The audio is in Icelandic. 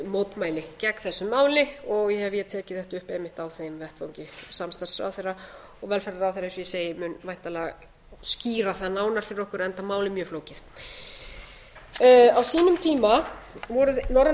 mótmæli gegn þessu máli og ef á tekið þetta upp einmitt á þeim vettvangi samstarfsráðherra velferðarráðherra eins og ég segi mun væntanlega skýra það námar fyrir okkur enda málið mjög flókið á sínum tíma voru norrænu